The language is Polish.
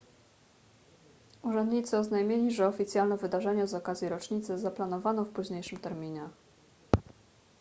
urzędnicy oznajmili że oficjalne wydarzenie z okazji rocznicy zaplanowano w późniejszym terminie